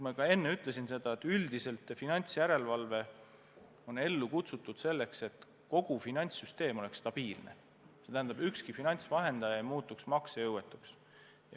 Ma juba enne ütlesin, et üldiselt on finantsjärelevalve ellu kutsutud selleks, et kogu finantssüsteem oleks stabiilne, see tähendab, et ükski finantsvahendaja ei muutuks maksejõuetuks.